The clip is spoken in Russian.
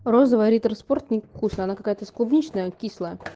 розовая риттер спорт она не вкусная она какая-то с клубничная кислая